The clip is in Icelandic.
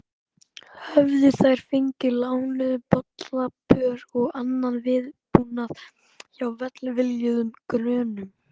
Höfðu þær fengið lánuð bollapör og annan viðbúnað hjá velviljuðum grönnum.